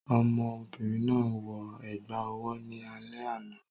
Ọmọ obìnrin náà wọ ẹ̀gbà owó ní alẹ́ àná